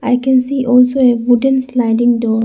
I can see also a wooden sliding door.